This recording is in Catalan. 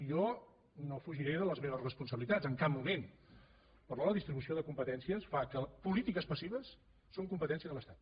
jo no fugiré de les meves responsabilitats en cap moment però la distribució de competències fa que polítiques passives siguin competència de l’estat